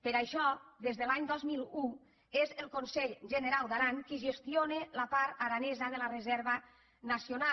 per això des de l’any dos mil un és el conselh generau d’aran qui gestiona la part aranesa de la reserva nacio·nal